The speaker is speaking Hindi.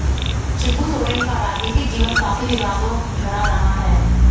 शिबू सोरेन का राजनीतिक जीवन काफी विवादों भरा रहा है